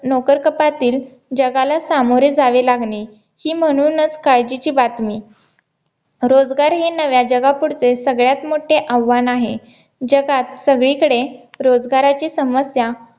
नोकरकपातीत जगाला सामोरं जावे लागले ही म्हणूनच काळजीची बातमी रोजगार हे नव्या जगा पुढचे सगळ्यात मोठे आव्हान आहे जगात सगळीकडे रोजगाराची समस्या